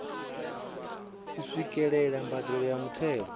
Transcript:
u swikelela mbadelo ya muthelo